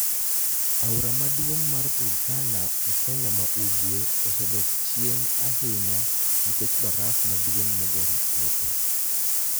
Aora maduonig' mar Turkania e Keniya ma ugwe, osedok chieni ahiniya niikech baraf maduonig' moger Ethiopia.